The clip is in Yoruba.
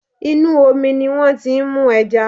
Inú omi ni wọ́n ti ń mú ẹja